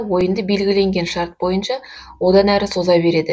ойынды белгіленген шарт бойынша одан әрі соза береді